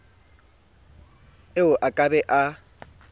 eo a ka be a